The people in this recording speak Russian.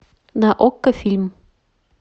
на окко фильм